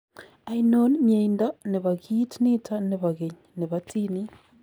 Ainon myeindo neboo kiit niton nebo keny nebo tiniit